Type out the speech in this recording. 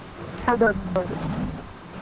ಹೌದು ಹೌದು.